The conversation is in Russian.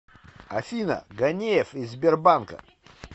афина ганеев из сбербанка